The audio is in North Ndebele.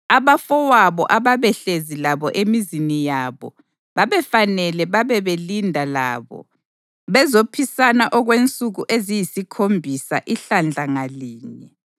Abafowabo ababehlezi labo emizini yabo babefanele babebelinda labo bezophisana okwensuku eziyisikhombisa ihlandla ngalinye.